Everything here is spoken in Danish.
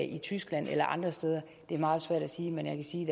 i tyskland eller andre steder er meget svært at sige men jeg kan sige